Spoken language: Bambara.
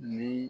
Ni